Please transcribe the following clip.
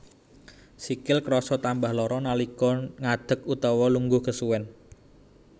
Sikil krasa tambah lara nalika ngadeg utawa lungguh kesuwen